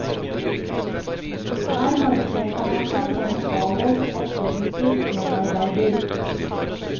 Her markerte han seg som en avholdt og produktiv medarbeider.